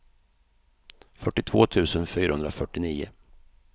fyrtiotvå tusen fyrahundrafyrtionio